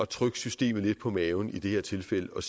trykke systemet lidt på maven i det her tilfælde og